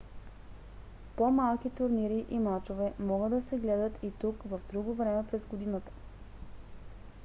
по-малки турнири и мачове могат да се гледат и тук в друго време през годината